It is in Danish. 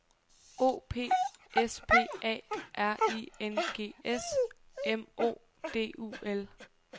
O P S P A R I N G S M O D U L